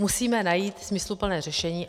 Musíme najít smysluplné řešení.